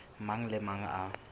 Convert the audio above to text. mang le a mang a